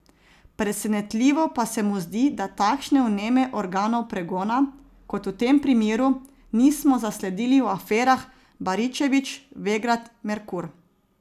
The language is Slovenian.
Presenetljivo pa se mu zdi, da takšne vneme organov pregona, kot v tem primeru, nismo zasledili v aferah Baričevič, Vegrad, Merkur.